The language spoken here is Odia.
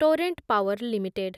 Torrent Power limited